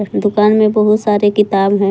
दुकान में बहुत सारे किताब है।